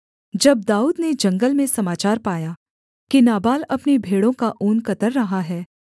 जब दाऊद ने जंगल में समाचार पाया कि नाबाल अपनी भेड़ों का ऊन कतर रहा है